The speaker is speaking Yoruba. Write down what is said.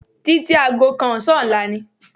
Títí aago kan ọ̀sán ọ̀la ni